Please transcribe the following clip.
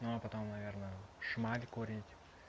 но потом наверное шмаль курить